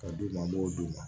Ka d'u ma an b'o d'u ma